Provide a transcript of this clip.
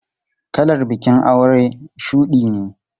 Kalar bikin aure shudi ne.